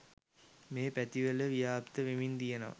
මේ පැතිවල ව්‍යාප්ත වෙමින් තියනවා.